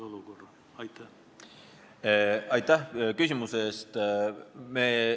Aitäh küsimuse eest!